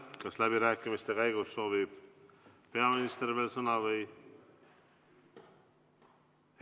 Kas läbirääkimiste käigus soovib peaminister veel sõna?